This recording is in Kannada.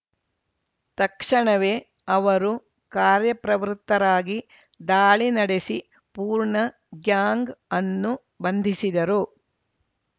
ತಕ್ಷಣವೇ ಅವರು ಕಾರ್ಯಪ್ರವೃತ್ತರಾಗಿ ದಾಳಿ ನಡೆಸಿ ಪೂರ್ಣ ಗ್ಯಾಂಗ್‌ ಅನ್ನು ಬಂಧಿಸಿದರು